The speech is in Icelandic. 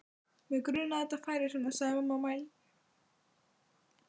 Mig grunaði að þetta færi svona sagði mamma mædd.